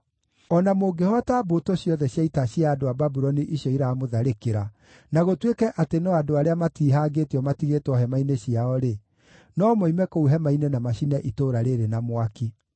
O na mũngĩhoota mbũtũ ciothe cia ita cia andũ a Babuloni icio iramũtharĩkĩra, na gũtuĩke atĩ no andũ arĩa matiihangĩtio matigĩtwo hema-inĩ ciao-rĩ, no moime kũu hema-inĩ na macine itũũra rĩĩrĩ na mwaki.”